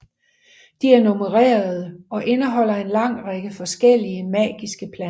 De er nummererede og indeholder en lang række forskellige magiske planter